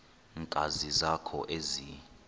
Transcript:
nkani zakho ezi